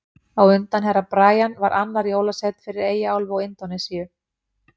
Á undan Herra Brian var annar jólasveinn fyrir Eyjaálfu og Indónesíu.